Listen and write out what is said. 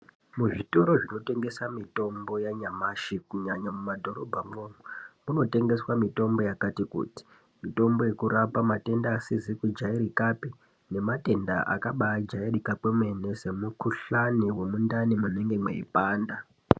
Muzvitoro zvinotengesa mitombo yanyamashi kunyanya kumadhorobhamwo munotengeswa mitombo yakati kuti mitombo yekurapa matenda asizi kujairikapi nematenda akabaijairika kwemene semukuhlani wemundani munenge mweipanda.